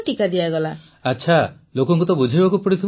ପ୍ରଧାନମନ୍ତ୍ରୀ ଆଚ୍ଛା ଲୋକଙ୍କୁ ତ ବୁଝାଇବାକୁ ପଡ଼ିଥିବ